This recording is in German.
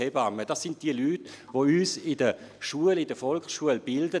Es sind die Leute, die uns in der Volksschule bilden.